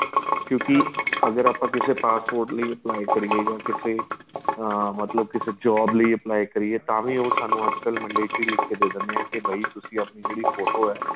ਕਿਉਂਕਿ ਅਗਰ ਆਪਾਂ ਕਿਸੇ passport ਲਈ apply ਕਈਏ ਜਾਂ ਕਿਸੇ ਹਾਂ ਮਤਲਬ ਕੇ ਕਿਸੇ job ਵੀ apply ਕਰੀਏ ਤਾਂ ਵੀ ਉਹ ਸਾਨੂੰ ਅੱਜ ਕੱਲ mandatory ਲਿੱਖ ਦੇ ਦੇ ਦਿੰਦੇ ਏ ਕੀ ਬਾਈ ਤੁਸੀਂ ਆਪਣੀ ਜਿਹੜੀ ਫ਼ੋਟੋ ਆਂ